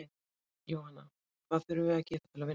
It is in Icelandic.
Jóhanna: Hvað þurfum við að gera til að vinna?